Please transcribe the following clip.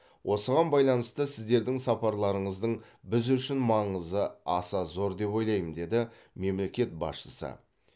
осыған байланысты сіздердің сапарларыңыздың біз үшін маңызы аса зор деп ойлаймын деді мемлекет басшысы